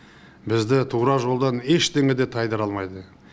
бізді тура жолдан ештеңе де тайдыра алмайды